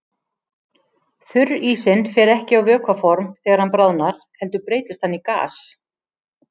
Þurrísinn fer ekki á vökvaform þegar hann bráðnar heldur breytist hann í gas.